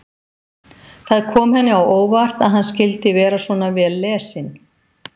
Það kom henni á óvart að hann skyldi vera svona vel lesinn.